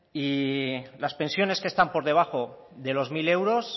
y las pensiones que están por debajo de los mil euros